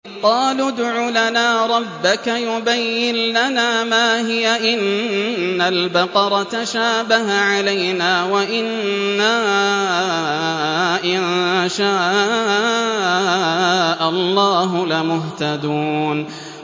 قَالُوا ادْعُ لَنَا رَبَّكَ يُبَيِّن لَّنَا مَا هِيَ إِنَّ الْبَقَرَ تَشَابَهَ عَلَيْنَا وَإِنَّا إِن شَاءَ اللَّهُ لَمُهْتَدُونَ